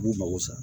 U b'u mago sa